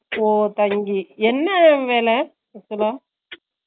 ஓ தங்கி என்ன வேல அப்பிடினா ?